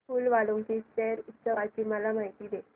फूल वालों की सैर उत्सवाची मला माहिती दे